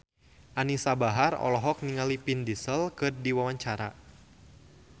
Anisa Bahar olohok ningali Vin Diesel keur diwawancara